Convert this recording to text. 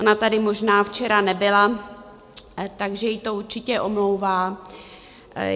Ona tady možná včera nebyla, takže to ji určitě omlouvá.